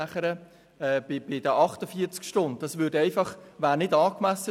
48 Stunden wären der Situation nicht angemessen.